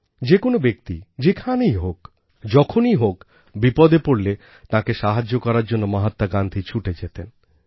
যে কোনও ব্যক্তি যেখানেই হোক যখনই হোক বিপদে পড়লে তাঁকে সাহায্য করার জন্য মহাত্মা গান্ধী ছুটে যেতেন